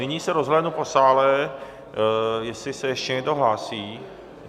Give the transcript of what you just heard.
Nyní se rozhlédnu po sále, jestli se ještě někdo hlásí.